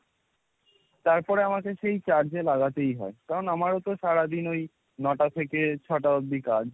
তারপরে আমাকে সেই charge এ লাগাতেই হয়। কারণ আমারও তো সারাদিন ওই নটা থেকে ছটা অব্দি কাজ।